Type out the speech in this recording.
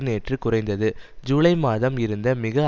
நேற்று குறைந்தது ஜூலை மாதம் இருந்த மிக